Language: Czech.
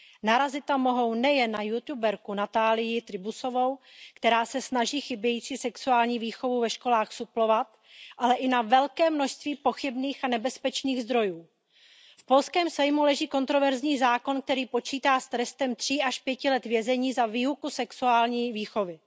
Narazit tam mohou nejen na youtuberku Natalii Trybusovou, která se snaží chybějící sexuální výchovu ve školách suplovat, ale i na velké množství pochybných a nebezpečných zdrojů. V polském Sejmu leží kontroverzní zákon, který počítá s trestem tří až pěti let vězení za výuku sexuální výchovy.